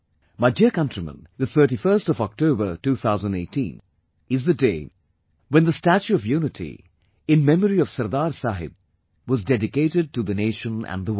My dear countrymen, the 31st of October, 2018, is the day when the 'Statue of Unity',in memory of Sardar Saheb was dedicated to the nation and the world